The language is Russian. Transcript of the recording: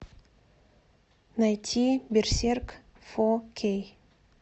найти берсерк фо кей